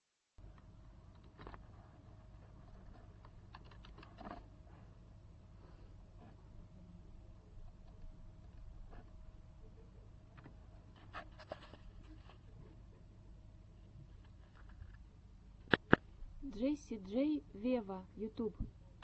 джесси джей вево ютюб